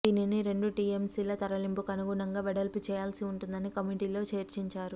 దీనిని రెండు టీఎంసీల తరలింపునకు అనుగుణంగా వెడల్పు చేయాల్సి ఉంటుందని కమిటీలో చర్చించారు